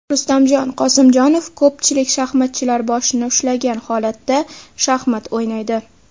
Rustam Qosimjonov: Ko‘pchilik shaxmatchilar boshini ushlagan holatda shaxmat o‘ynaydi.